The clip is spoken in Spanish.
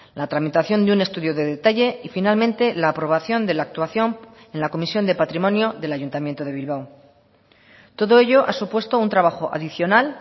la tramitación de un estudio de detalle y finalmente la aprobación de la actuación en la comisión de patrimonio del ayuntamiento de bilbao todo ello ha supuesto un trabajo adicional